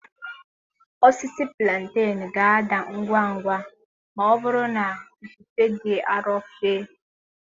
Osisi Plantenu ga-ada ngwa ngwa ma ọ bụrụ na ifufe dị arọ fe.